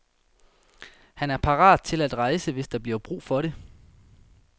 Han er parat til at rejse, hvis der bliver brug for det.